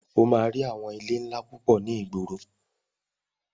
O máa rí àwọn ilé ńlá púpọ̀ ní ìgboro.